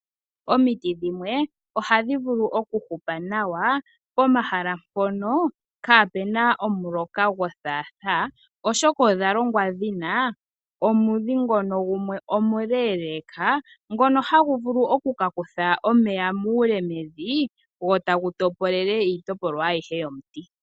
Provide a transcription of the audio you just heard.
Omiti dhimwe ohadhi vulu okuhupa nawa pomahala mpono kapuna omuloka gwothaathaa, oshoka odha shitwa dhina omudhi ngono gumwe omuleeleka, ngono hagu vulu oku ka kutha omeya muule mevi gwo tagu topolele iitopolwa ayihe yomuti.